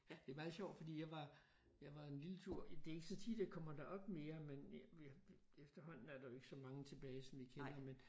Det er meget sjovt fordi jeg var jeg var en lille tur i det ikke så tit jeg kommer derop mere men efterhånden er der jo ikke så mange tilbage som vi kender men